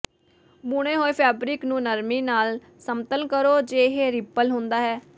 ਬੁਣੇ ਹੋਏ ਫੈਬਰਿਕ ਨੂੰ ਨਰਮੀ ਨਾਲ ਸਮਤਲ ਕਰੋ ਜੇ ਇਹ ਰਿੱਪਲ ਹੁੰਦਾ ਹੈ